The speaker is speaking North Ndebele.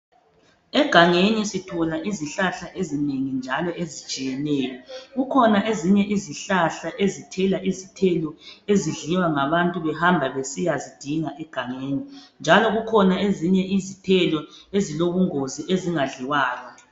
Egangeni sithola izihlahla ezinengi njalo ezitshiyeneyo .Kukhona ezinye izihlahla ezithela izithelo ezidliwa ngabantu behamba besiyazidinga egangeni. Njalo kukhona ezilobungozi ezingadliwayo.